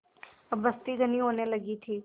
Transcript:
अब बस्ती घनी होने लगी थी